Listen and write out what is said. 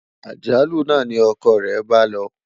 àjálù nà ní ọkọ re bá ló